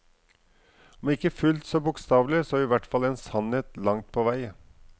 Om ikke fullt så bokstavelig, så i hvert fall en sannhet langt på vei.